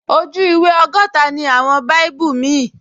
Ojú ìwé ọgọ́ta ni àwọn báíbù míì